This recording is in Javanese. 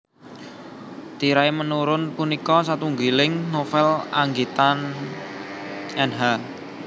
Tirai Menurun punika satunggiling novel anggitan Nh